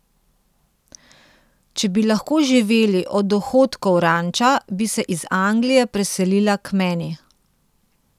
Če bi lahko živeli od dohodkov ranča, bi se iz Anglije preselila k meni.